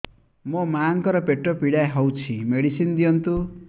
ମୋ ମାଆଙ୍କର ପେଟ ପୀଡା ହଉଛି ମେଡିସିନ ଦିଅନ୍ତୁ